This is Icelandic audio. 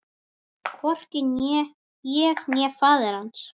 Hvorki ég né faðir hans.